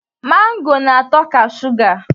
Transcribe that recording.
Mango na-atọ ka suga